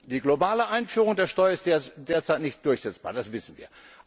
Die globale Einführung der Steuer ist derzeit nicht durchsetzbar, das wissen wir.